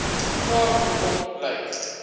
vraag hoekom lyk